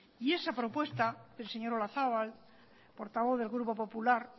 y esa propuesta del señor olazabal portavoz del grupo popular